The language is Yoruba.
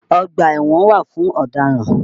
Ọ̀gbà ẹ̀wọ̀n wà fún ọ̀dáràn.